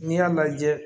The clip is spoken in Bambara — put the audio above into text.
N'i y'a lajɛ